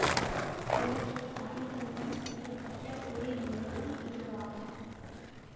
உலகில் ஆடிவிம்பம் செய்ய பட்ட ஒரே நூலகம் இதுவாகும்